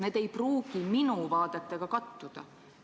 Need vaated ei pruugi minu vaadetega kattuda.